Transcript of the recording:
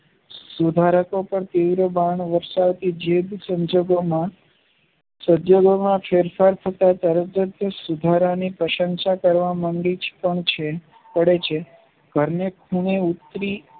સુધારકો પાર તીવ્ર બાણ વર્ષાવતી જીભ સંશોધોમાં ફેરફાર થતા તરતજ સુધારાઓની પ્રશંસા કરવા મંડી પડે છે ઘરને ખૂણે ઉતરી